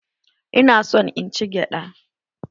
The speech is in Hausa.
Ina son in ci gyada